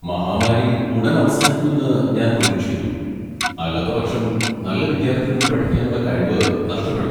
മഹാമാരി ഉടൻ അവസാനിക്കുമെന്ന് ഞാൻ പ്രതീക്ഷിക്കുന്നു, അല്ലാത്തപക്ഷം നല്ല വിദ്യാർത്ഥികൾക്ക് പഠിക്കാനുള്ള കഴിവ് നഷ്ടപ്പെടും.